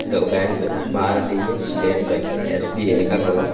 ఇదొక బ్యాంక్ భారతీయ state bank SBI Srikakulam.